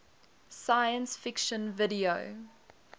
science fiction video